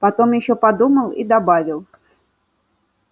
потом ещё подумал и добавил